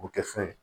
O kɛ fɛn